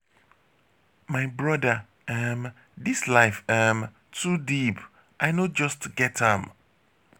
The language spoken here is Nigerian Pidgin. my brother um dis life um too deep i no just get am.